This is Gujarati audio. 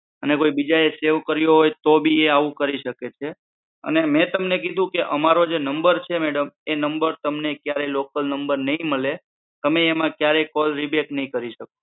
અને કોઈ બીજા સેવ કર્યો હોય તો એબી એ આવું કરી શકે છે અને તમને કીધું કે અમારો જે નંબર છે મેડમ એ નંબર ક્યારે લોકલ નંબર નઈ મલે તમે એમાં ક્યારે કોલ રિબેક નઈ કરી શકો